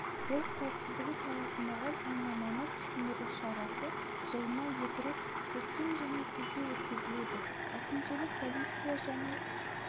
жол қауіпсіздігі саласындағы заңнаманы түсіндіру шарасы жылына екі рет көктем және күзде өткізіледі әкімшілік полиция және